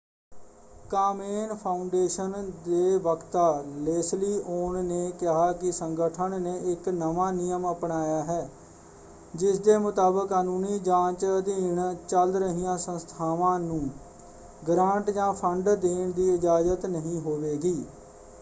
ਕਾਮੇਨ foundation ਦੇ ਵਕਤਾ Leslie ਔਨ ਨੇ ਕਿਹਾ ਕਿ ਸੰਗਠਨ ਨੇ ਇੱਕ ਨਵਾਂ ਨਿਯਮ ਅਪਣਾਇਆ ਹੈ ਜਿਸਦੇ ਮੁਤਾਬਕ ਕਾਨੂੰਨੀ ਜਾਂਚ ਅਧੀਨ ਚੱਲ ਰਹੀਆਂ ਸੰਸਥਾਵਾਂ ਨੂੰ ਗ੍ਰਾਂਟ ਜਾਂ ਫੰਡ ਦੇਣ ਦੀ ਇਜਾਜ਼ਤ ਨਹੀਂ ਹੋਵੇਗੀ।